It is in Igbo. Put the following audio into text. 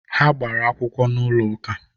Ha gbara akwụkwọ n'ụlọ ụka